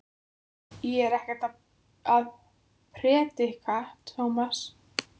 Ég er ekkert að predika, Tómas.